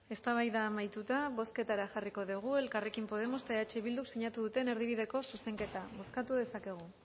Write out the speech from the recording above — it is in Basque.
eztabaida amaituta bozketara jarriko dugu elkarrekin podemos eta eh bilduk sinatu duten erdibideko zuzenketa bozkatu dezakegu